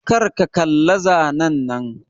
Kar ka kalla zanen nan!